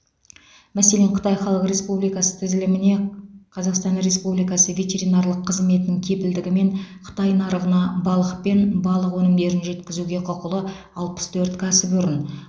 мәселен қытай халық республикасы тізіліміне қазақстан республикасы ветеринарлық қызметінің кепілдігімен қытай нарығына балық пен балық өнімдерін жеткізуге құқылы алпыс төрт кәсіпорын